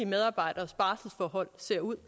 medarbejderes barselsforhold ser ud